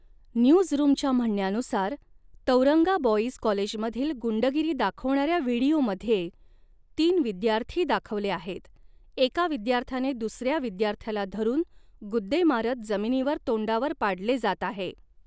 न्यूजरूमच्या म्हणण्यानुसार, Tauranga boys कॉलेजमधील गुंडगिरी दाखवणाऱ्या व्हिडिओमध्ये तीन विद्यार्थी दाखवले आहेत, एका विद्यार्थ्याने दुसऱ्या विद्यार्थ्याला धरून, गुद्दे मारत जमिनीवर तोंडावर पाडले जात आहे.